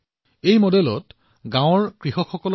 সুখেত মডেলৰ উদ্দেশ্য হৈছে গাওঁবোৰত প্ৰদূষণ হ্ৰাস কৰা